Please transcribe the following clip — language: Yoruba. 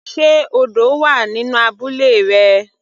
Sé odò wà nínú abúlé rẹ.